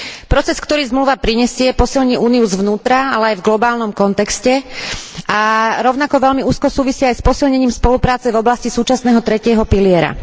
Proces, ktorý zmluva prinesie, posilní Úniu zvnútra, ale aj v globálnom kontexte, a rovnako veľmi úzko súvisí aj s posilnením spolupráce v oblasti súčasného tretieho piliera.